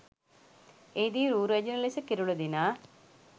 එහි දී රූ රැජිණ ලෙස කිරුළ දිනා